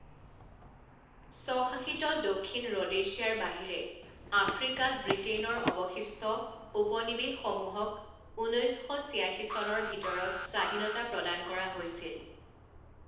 স্ব শাসিত দক্ষিণ ৰ'ডেছিয়াৰ বাহিৰে আফ্ৰিকাত ব্ৰিটেইনৰ অৱশিষ্ট উপনিবেশসমূহক ঊনৈছ শ ছিয়াশী চনৰ ভিতৰত স্বাধীনতা প্ৰদান কৰা হৈছিল।